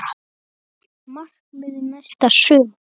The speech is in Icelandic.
Markmið næsta sumars?